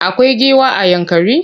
Akwai giwa a Yankari?